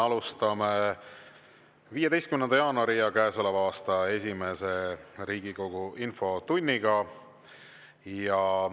Me alustame 15. jaanuari Riigikogu infotundi, see on käesoleval aastal esimene.